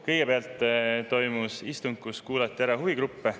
Kõigepealt toimus istung, kus kuulati ära huvigruppe.